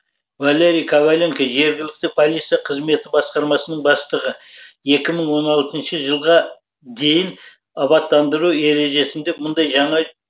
валерий коваленко жергілікті полиция қызметі басқармасының бастығы екі мың он алтыншы жылға дейінгі абаттандыру ережесінде мұндай жаңа